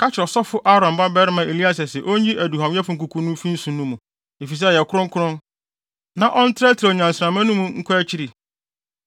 “Ka kyerɛ ɔsɔfo Aaron babarima Eleasar sɛ onyi aduhuamyɛfo nkuku no mfi nso no mu, efisɛ ɛyɛ kronkron, na ɔntrɛtrɛw nnyansramma no mu nkɔ akyiri